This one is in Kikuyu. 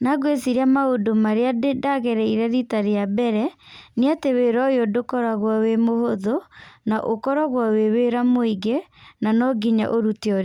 Na ngwĩciria maũndũ marĩa ndagereire rita rĩa mbere, nĩ atĩ wĩra ũyũ ndũkoragwo wĩ mũhũthũ, na ũkoragwo wĩ wĩra mũingĩ, na no nginya ũrĩte ũrĩa...